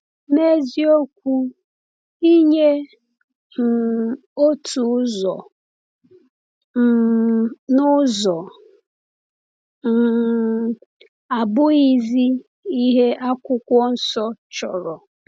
N’eziokwu, inye um otu ụzọ um n’ụzọ (tithing) um abụghịzi ihe Akwụkwọ Nsọ chọrọ.